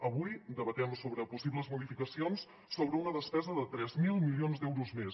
avui debatem sobre possibles modificacions sobre una despesa de tres mil milions d’euros més